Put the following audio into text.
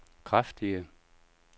kraftige